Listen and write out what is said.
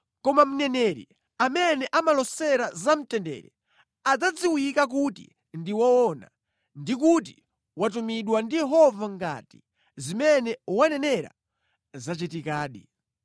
Koma mneneri amene amalosera zamtendere adzadziwika kuti ndi woona ndi kuti watumidwa ndi Yehova ngati zimene wanenera zachitikadi.”